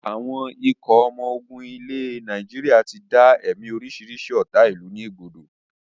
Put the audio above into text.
Àwọn ikọ̀ ọmọ ogun ilẹ̀ Nàìjíríà tí dá ẹ̀mí orisirisi ọ́ta ìlú ni ẹ̀gbodò